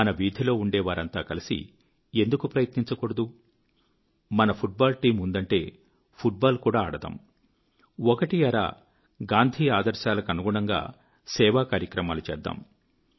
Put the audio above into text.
మన వీధిలో ఉండేవారంతా కలిసి ఎందుకు ప్రయత్నించకూడదు మన ఫుట్ బాల్ టీం ఉందంటే ఫుట్ బాల్ కూడా ఆడదాము ఒకటీ అరా గాంధీ ఆదర్శాలకూ అనుగుణంగా సేవాకార్యక్రమాలూ చేద్దాం